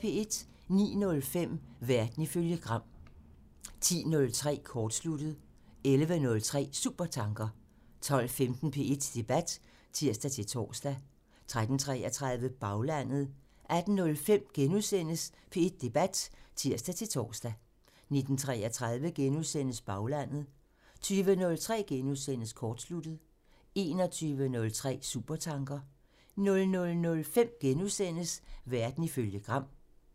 09:05: Verden ifølge Gram (tir) 10:03: Kortsluttet (tir) 11:03: Supertanker (tir) 12:15: P1 Debat (tir-tor) 13:33: Baglandet (tir) 18:05: P1 Debat *(tir-tor) 19:33: Baglandet *(tir) 20:03: Kortsluttet *(tir) 21:03: Supertanker (tir) 00:05: Verden ifølge Gram *(tir)